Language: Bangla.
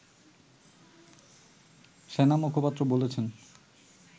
সেনা মুখপাত্র বলেছেন